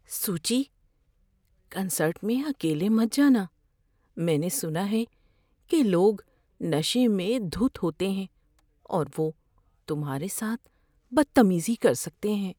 سوچی۔ کنسرٹ میں اکیلے مت جانا۔ میں نے سنا ہے کہ لوگ نشے میں دھت ہوتے ہیں اور وہ تمہارے ساتھ بدتمیزی کر سکتے ہیں۔